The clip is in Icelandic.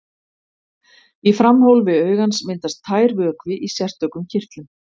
Í framhólfi augans myndast tær vökvi í sérstökum kirtlum.